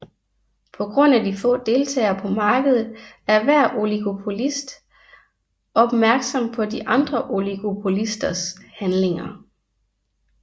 På grund af de få deltagere på markedet er hver oligopolist opmærksom på de andre oligopolisters handlinger